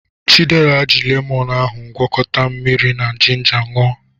Chidera ji lemonụ́ ahụ gwakọta mmiri na jinja ṅụọ.